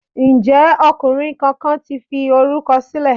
Ǹjẹ́ ọkùnrin kankan ti fi orúkọ sílẹ̀?